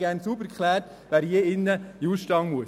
Ich hätte gern sauber geklärt, wer hier in den Ausstand muss.